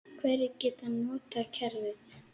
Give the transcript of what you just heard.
Hverjir geta notað kerfið?